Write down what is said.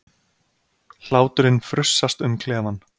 Hláturinn frussast um klefann.